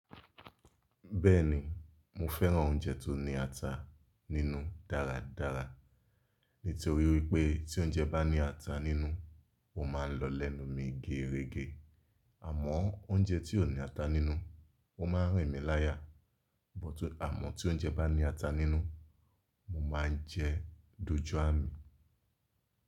Bẹ́ẹ̀ni, mo fẹ́ràn oúnjẹ tó ní ata nínú dáradára. Nítorí wípé tí oúnjẹ bá ní ata nínú, ó ma ń lọlẹ̀nú mi gẹrẹgẹ. Àmọ́ oúnjẹ tí kò ní ata nínú, ó ma ń rìn mí láyà. Bótí àmọ́ tí oúnjẹ bá ní ata nínú, mo máa ń jẹ dojú à mi.